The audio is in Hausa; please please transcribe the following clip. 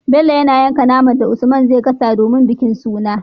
Bello yana yanka naman da usman zai gasa domin bikin suna